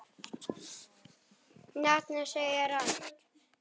Nafnið segir allt.